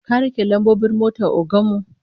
Ka rike lambobin motar ogan mu?